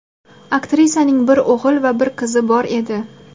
Aktrisaning bir o‘g‘il va bir qizi bor edi.